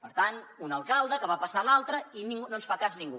per tant un alcalde ho va passant a l’altre i no ens fa cas ningú